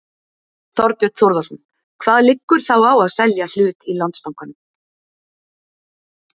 Þorbjörn Þórðarson: Hvað liggur þá á að selja hlut í Landsbankanum?